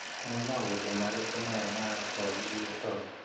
Nĩ maũndũ marĩkũ maya marakwagithia toro